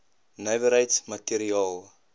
nywerheids i materiaal